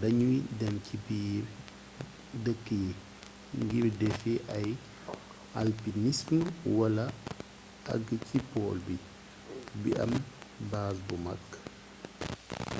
dañuy dem ci biir dëkk yi ngir defi ay alpinism wala agg ci pole bi bi am baaz bu mag